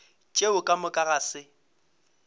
tšeo ka moka ga se